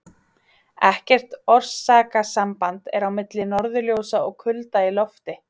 Ekkert orsakasamband er á milli norðurljósa og kulda í lofti.